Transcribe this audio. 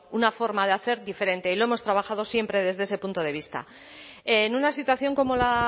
una forma de hacer diferente y lo hemos trabajado siempre desde ese punto de vista en una situación como la